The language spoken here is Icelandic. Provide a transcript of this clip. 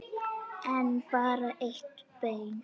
En bara eitt bein.